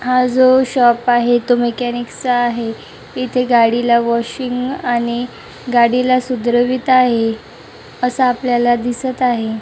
हा जो शॉप आहे तो मेकॅनिक चा आहे इथे गाडीला वॉशिंग आणि गाडीला सुधरवीत आहे असं आपल्याला दिसत आहे.